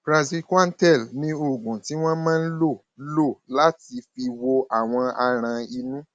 praziquantel ni oògùn tí wọn máa ń lò lò láti fi wo àwọn aràn inú